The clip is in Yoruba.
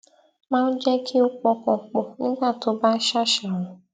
máa ń jé kí ó pọkàn pò nígbà tí ó bá ń ṣàṣàrò